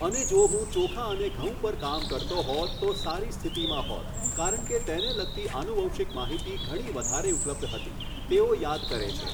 અને જો હું ચોખા અને ઘઉં પર કામ કરતો હોત તો સારી સ્થિતિમાં હોત કારણ કે તેને લગતી આનુવંશિક માહિતી ઘણી વધારે ઉપલબ્ધ હતી, તેઓ યાદ કરે છે.